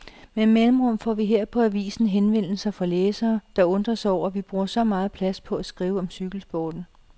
Med mellemrum får vi her på avisen henvendelser fra læsere, der undrer sig over, at vi bruger så meget plads på at skrive om cykelsporten.